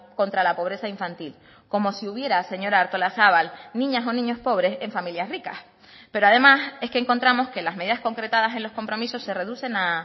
contra la pobreza infantil como si hubiera señora artolazabal niñas o niños pobres en familias ricas pero además es que encontramos que las medidas concretadas en los compromisos se reducen a